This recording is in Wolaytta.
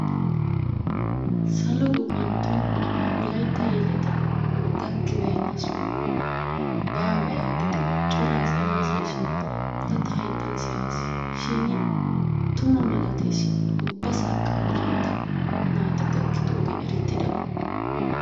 Salo gufantton wolaytta yeleti gakkibeenna sohoy baawa yaagidi cora asay haasayishin ta ta hayttan siyaasi shin tuma malatees ubbasaakka wolaytta naati gakkidoogee erettidaba.